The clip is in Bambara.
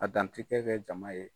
A dantigɛ kɛ jama ye.